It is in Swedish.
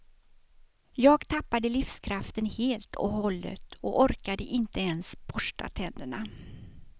Jag tappade livskraften helt och hållet och orkade inte ens borsta tänderna.